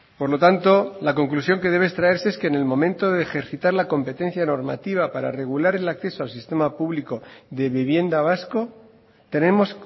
por lo tanto la conclusión que debe extraerse es que en el momento de ejercitar la competencia normativa para regular el acceso al sistema público de vivienda vasco tenemos